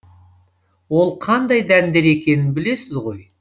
ол қандай дәндер екенін білесіз ғой